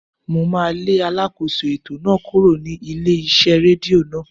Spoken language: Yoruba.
Mo máà lé alákóso ètò náà kúrò ní ilé iṣẹ́ rédíò náà.